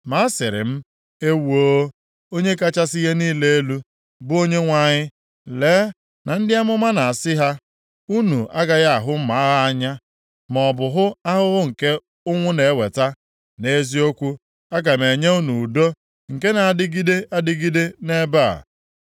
Ma asịrị m, “Ewoo, Onye kachasị ihe niile elu, bụ Onyenwe anyị! Lee na ndị amụma na-asị ha, ‘Unu agaghị ahụ mma agha anya, maọbụ hụ ahụhụ nke ụnwụ na-eweta, nʼeziokwu, aga m enye unu udo nke na-adịgide adịgide nʼebe a.’ ”